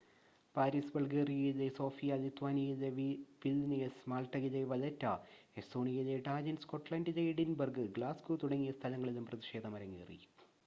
Paris ബൾഗേറിയയിലെ Sofia ലിത്വാനിയയിലെ Vilnius മാൾട്ടയിലെ വലെറ്റ എസ്തോണിയയിലെ ടാലിൻ സ്കോട്ട്ലൻഡിലെ എഡിൻബർഗ് ഗ്ലാസ്ഗോ തുടങ്ങിയ സ്ഥലങ്ങളിലും പ്രതിഷേധം അരങ്ങേറി